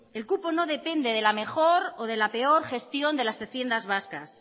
el cupo no depende de la mejor o de la peor gestión de las haciendas vascas